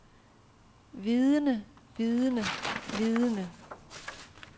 vidende vidende vidende